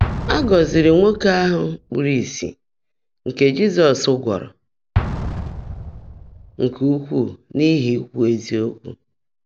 Á gọ́zìrì nwoòké áhụ́ kpúúrú ìsí nkè Jị́zọ́s gwọ́rọ́ nkè ụ́kwúú n’íhí íkwú ézíokwú